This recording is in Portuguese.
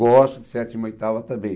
Gosto de sétima e oitava também.